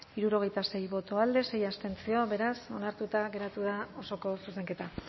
hirurogeita sei boto alde sei abstentzio beraz onartuta geratu da osoko zuzenketa